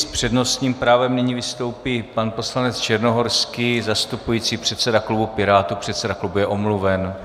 S přednostním právem nyní vystoupí pan poslanec Černohorský zastupující předsedu klubu Pirátů, předseda klubu je omluven.